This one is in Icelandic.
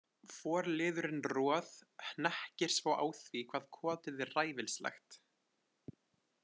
Forliðurinn Roð- hnekkir svo á því hvað kotið er ræfilslegt.